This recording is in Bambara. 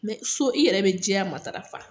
so i yɛrɛ bɛ jɛya matarafa